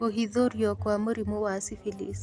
Kũhithũrio kwa mũrimũ wa syphilis